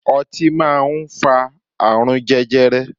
Ọtí máa ń fa àrùn jẹjẹrẹ.